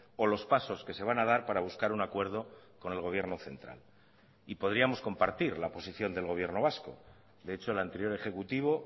o los pasos que se van a dar para buscar un acuerdo con el gobierno central y podríamos compartir la posición del gobierno vasco de hecho el anterior ejecutivo